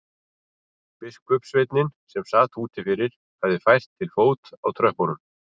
Biskupssveinninn sem sat úti fyrir hafði fært til fót á tröppunum.